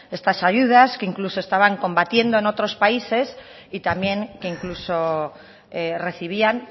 estas ayudas que incluso estaban combatiendo en otros países y también que incluso recibían